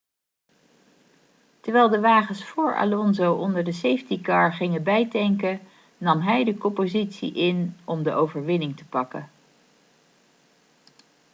terwijl de wagens vóór alonso onder de safety car gingen bijtanken nam hij de koppositie in om de overwinning te pakken